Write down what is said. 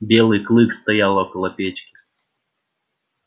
белый клык стоял около печки